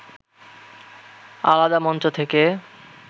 আলাদা মঞ্চ থেকে